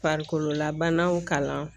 Farikolola banaw kalan.